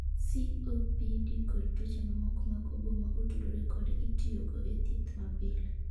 COPD kod tuoche mamoko mag obo ma otudore kode itiyogo e thieth mapile.